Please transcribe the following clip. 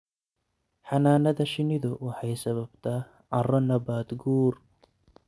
Xannaanada shinnidu waxay sababtaa carro nabaad guur.